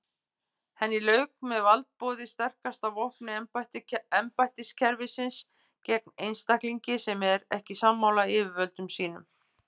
Henni lauk með valdboði sterkasta vopni embættiskerfisins gegn einstaklingi sem er ekki sammála yfirvöldum sínum.